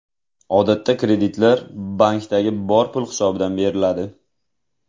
Odatda kreditlar, bankdagi bor pul hisobidan beriladi.